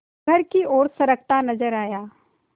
घर की ओर सरकता नजर आया